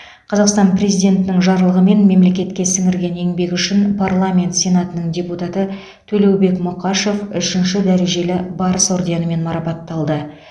қазақстан президентінің жарлығымен мемлекетке сіңірген еңбегі үшін парламент сенатының депутаты төлеубек мұқашев үшінші дәрежелі барыс орденімен марапатталды